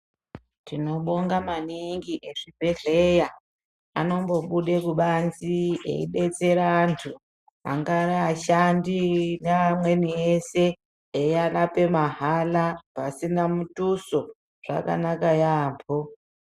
Tinobonga maningi ezvibhedhlera anombobude kubanzi eidetsera antu angaa ashandi neamweni ese eirapa mahala pasina mutuso zvakanaka yaampho.